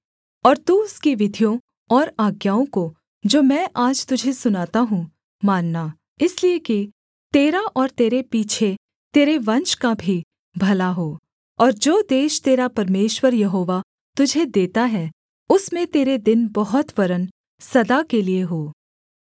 और तू उसकी विधियों और आज्ञाओं को जो मैं आज तुझे सुनाता हूँ मानना इसलिए कि तेरा और तेरे पीछे तेरे वंश का भी भला हो और जो देश तेरा परमेश्वर यहोवा तुझे देता है उसमें तेरे दिन बहुत वरन् सदा के लिये हों